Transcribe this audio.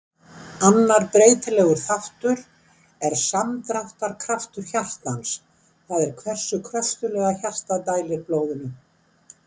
Annar breytilegur þáttur er samdráttarkraftur hjartans, það er hversu kröftuglega hjartað dælir blóðinu.